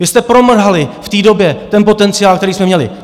Vy jsme promrhali v té době ten potenciál, který jsme měli.